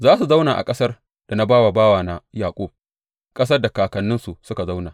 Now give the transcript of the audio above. Za su zauna a ƙasar da na ba wa bawana Yaƙub, ƙasar da kakanninsu suka zauna.